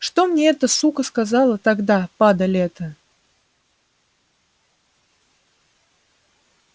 что мне эта сука сказала тогда падаль эта